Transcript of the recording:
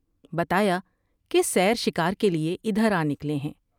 بتایا کہ سیر شکار کے لیے ادھر آ نکلے ہیں ۔